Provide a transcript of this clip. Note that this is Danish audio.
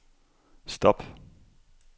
stop